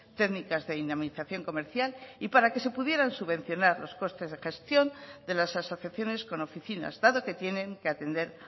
técnicas de dinamización comercial y para que se pudieran subvencionar los costes de gestión de las asociaciones con oficinas dado que tienen que atender